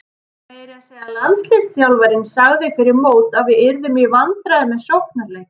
Meira að segja landsliðsþjálfarinn sagði fyrir mót að við yrðum í vandræðum með sóknarleikinn.